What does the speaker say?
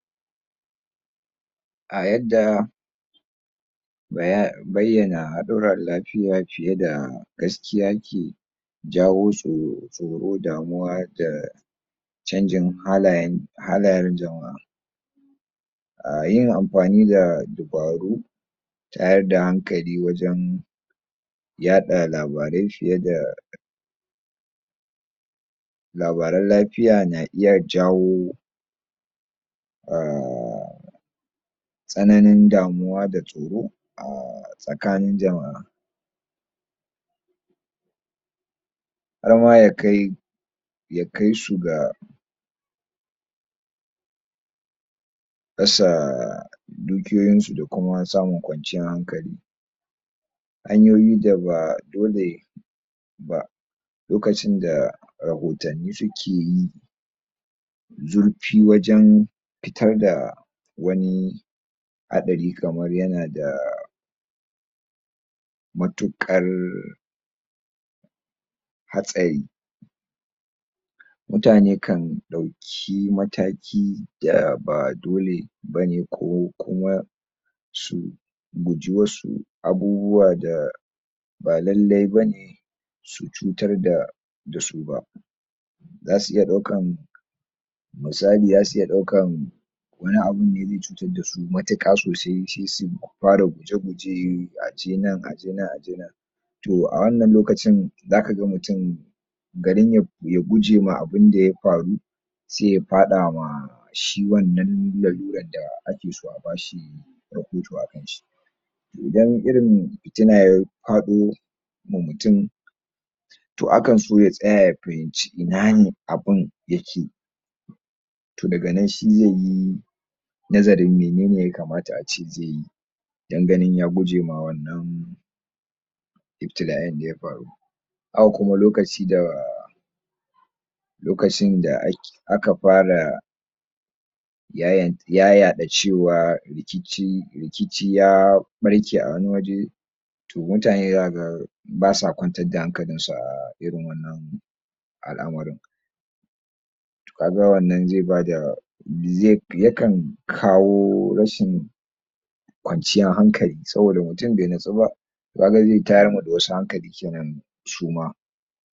A yadda bayyana haɗuran lapiya piye da gaskiya ke jawo tsoro damuwa da canjinn halayen halayen jama'a a yin ampani da dubaru tayar da hankali wajen yaɗa labarai fiye da labaran lapiya na iya jawo um tsananin damuwa da tsoro um tsakanin jama'a har ma ya kai ya kai su ga rasa dukiyoyin su da kuma samun kwanciyan hankali hanyoyin da ba dole ba lokacin da rahotanni suke yi zurpi wajen pitar da wani haɗari kamar yana da matuƙar hatsari mutane kan ɗauki mataki da ba dole bane ko kuma su guji wasu abubuwa da ba lallai bane su cutar da da su ba zasu iya ɗaukan misali zasu iya ɗaukan wani abu da ze cutar da su matuƙa sosai se su para guje-guje a je nan a je nan a je nan to a wannan lokacin za ka ga mutum garin ya guje ma abunda ya paru se ya paɗa ma shi wannnan laruran da ake so a bashi rahoto a kanshi ti idan pitina ya paɗo ma mutum to akan so ya tsaya ya pahimci ina ne abun yake to daga nan se yayi nazarin menene ya kamata ace ze yi don ganin ya guje ma wannan iptila'in da ya paru haka kuma lokaci da lokacin da um aka para um yayaɗa cewa rikici rikici ya ɓarke a wani waje to mutane zaka ga basa kwantar da hankalinsu a irin wannan al'amarin kaga wannan ze bada ze yakan kawo rashin kwanciyan hankali saboda mutum be nitsu ba kaga ze tayar ma da wasu hankali kenan su ma.